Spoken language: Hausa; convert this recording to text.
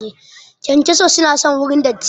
Kyankyaso su na son wurin datti